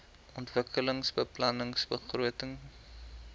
ontwikkelingsbeplanningbegrotings